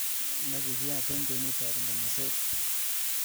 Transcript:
Nekikiyat eng ngwenutab nganaset.